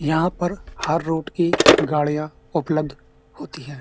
यहाँ पर हर रुट की गाड़ियां उपलब्ध होती हैं।